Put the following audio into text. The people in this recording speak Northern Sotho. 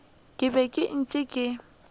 ke be ke ntše ke